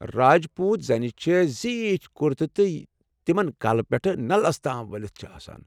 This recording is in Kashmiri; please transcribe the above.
راجپوٗت زنہِ چھےٚ زیٖٹھ کُرتہٕ یم تمن کلہٕ پٮ۪ٹھٕ نلس تام ؤلتھ چھِ آسان لاگان ۔